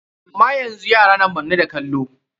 Amma yanzu yara na manne da kallo.